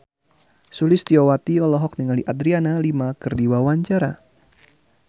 Sulistyowati olohok ningali Adriana Lima keur diwawancara